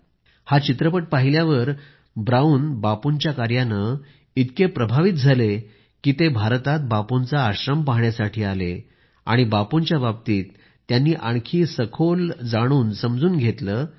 brown हा चित्रपट पाहिल्यावर बापूंच्या कार्यानं इतके प्रभावित झाले की ते भारतात बापूंचा आश्रम पहाण्यास आले आणि बापूंच्या बाबतीत त्यांनी आणखी सखोल जात त्यांच्या कार्याबद्दल जाणून समजून घेतलं